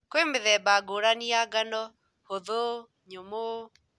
Kwĩmĩthemba ngũrani ya ngano, hũthũ , nyũmũ